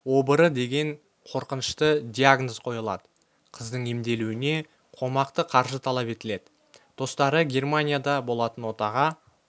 обыры деген қорқынышты диагноз қойылады қыздың емделуіне қомақты қаржы талап етіледі достары германияда болатын отаға